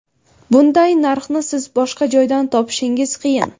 Bunday narxni siz boshqa joydan topishingiz qiyin!